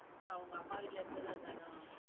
அவங்க அம்மா வீட்டுல இருக்கறது அதானோ?